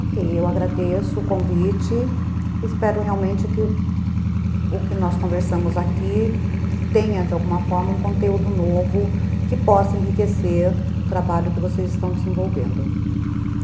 Ok, eu agradeço o convite, espero realmente que o que nós conversamos aqui tenha, de alguma forma, um conteúdo novo que possa enriquecer o trabalho que vocês estão desenvolvendo.